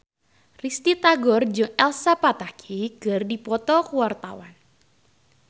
Risty Tagor jeung Elsa Pataky keur dipoto ku wartawan